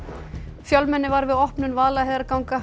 fjölmenni var við opnun Vaðlaheiðarganga